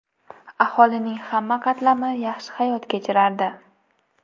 Aholining hamma qatlami yaxshi hayot kechirardi.